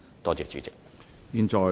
多謝主席。